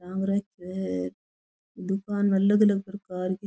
आमरस है दुकान अलग अलग प्रकार की --